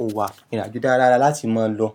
o wà. Ìrìn àjò dára dára láti máa lọ.